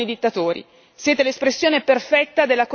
Parlate di diritti umani ma fate affari con i dittatori.